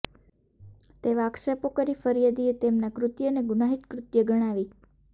તેવા આક્ષેપો કરી ફરિયાદીએ તેમના કૃત્યને ગુનાહિત કૃત્ય ગણાવી